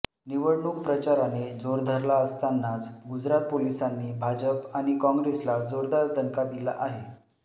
निवडणूक प्रचाराने जोर धरला असतानाच गुजरात पोलिसांनी भाजप आणि काँग्रेसला जोरदार दणका दिला आहे